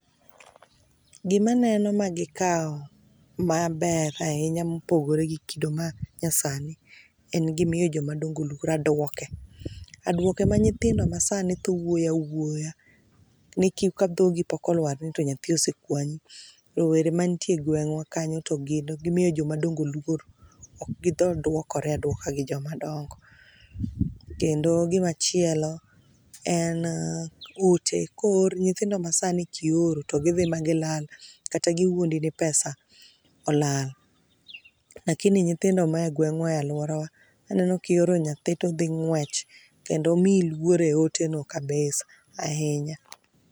Gima aneno ma gikawo maber ahinya mopogore gi kido manyasani en gi miyo joma dongo luor. Aduoke. Aduoke ma nyithindo masani thoo wuoyo awuoyo, ni ka dhogi pok oluar to nyathi osekwanyi. Rowere mantie egweng'wa kanyo to gin gimiyo joma dongo luor. Ok gi thor duokore aduoka gi joma dongo. Kendo gima chielo en oote ko oor nyithindo masani ki oro to gi dhii ma gilal kata giwuondi ni pesa olal. Lakini nyithindo mae egweng'wa e aluorawa aneno ki ooro nyathi to dhii ng'wech kendo omiyi luor eoteno kabisa ahinya.